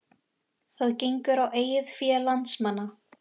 Það gengur á eigið fé landsmanna